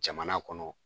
Jamana kɔnɔ